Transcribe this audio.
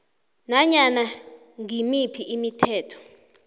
nanyana ngimiphi imithetho